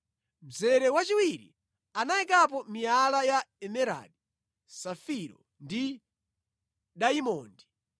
mzere wachiwiri anayikapo miyala ya emeradi, safiro ndi dayimondi;